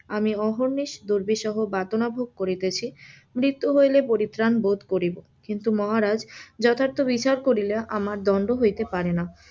আমি অহর্ণিশ দুর্বিসহ যাতনা ভোগ করিতেছি, মৃত্যু হইলে পরিত্রান ভোগ করিব, কিন্তু মহারাজ যথার্থ বিচার করিলে আমার দণ্ড হইতে পারে না,